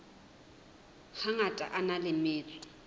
hangata a na le metso